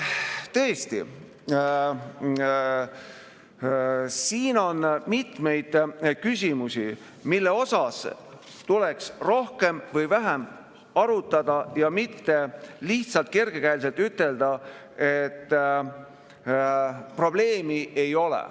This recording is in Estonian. Tõesti, siin on mitmeid küsimusi, mida tuleks rohkem või vähem arutada, mitte lihtsalt kergekäeliselt ütelda, et probleemi ei ole.